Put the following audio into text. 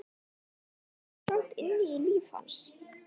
Enn greip Ísland inn í líf hans.